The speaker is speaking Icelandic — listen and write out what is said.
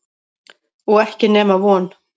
Og ekki nema von.